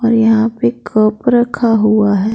यहां पे कप रखा हुआ है।